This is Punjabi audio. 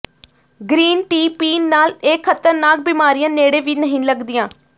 ਗਰੀਨ ਟੀ ਪੀਣ ਨਾਲ ਇਹ ਖ਼ਤਰਨਾਕ ਬਿਮਾਰੀਆਂ ਨੇੜੇ ਵੀ ਨਹੀਂ ਲੱਗਦੀਆਂ